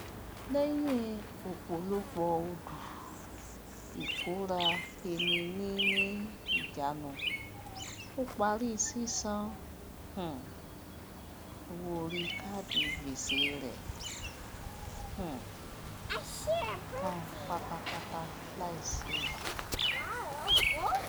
lẹyìn opolopo odu ìkóraeniní ìjánu ó parí sísan um owó oríi káádì gbèsè rẹ um tan pátápátá láìsí ele